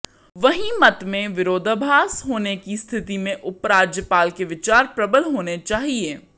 वहीं मत में विरोधाभास होने की स्थति में उपराज्यपाल के विचार प्रबल होने चाहिए